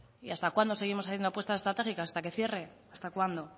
y hasta cuándo seguimos haciendo apuestas estratégicas hasta que cierre hasta cuándo